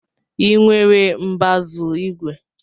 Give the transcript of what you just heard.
Ị nwere mbazu igwe?